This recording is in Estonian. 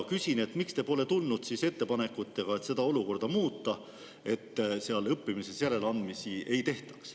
Küsin, miks te pole tulnud siis välja ettepanekutega seda olukorda muuta, et õppimises järeleandmisi ei tehtaks.